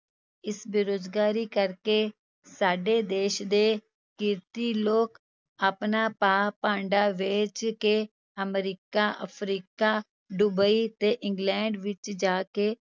ਇਸ ਬੇਰੁਜ਼ਗਾਰੀ ਕਰਕੇ ਸਾਡੇ ਦੇਸ ਦੇ ਕਿਰਤੀ ਲੋਕ ਆਪਣਾ ਭਾਅ ਭਾਂਡਾ ਵੇਚ ਕੇ ਅਮਰੀਕਾ, ਅਫ਼ਰੀਕਾ, ਡੁਬਈ ਤੇ ਇੰਗਲੈਂਡ ਵਿੱਚ ਜਾ ਕੇ